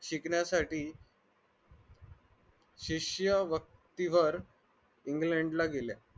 शिकण्यासाठी शिष्यवृत्तीवर england ला गेल्या